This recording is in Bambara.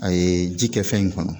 A ye ji kɛ fɛn in kɔnɔ